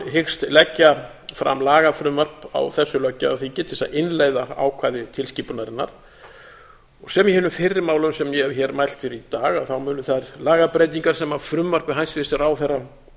hyggst leggja fram lagafrumvarp á þessu löggjafarþingi til þess að innleiða ákvæði tilskipunarinnar sem í hinum fyrri málum sem ég hef hér mælt fyrir í dag munu þær lagabreytingar sem af frumvarpi hæstvirts ráðherra